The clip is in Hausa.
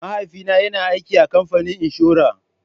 Mahaifina yana aiki a kamfanin inshora.